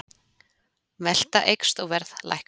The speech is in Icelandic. Velta eykst og verð lækkar